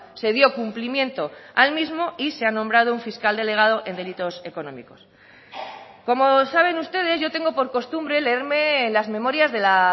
se dio cumplimiento al mismo y se ha nombrado un fiscal delegado en delitos económicos como saben ustedes yo tengo por costumbre leerme las memorias de la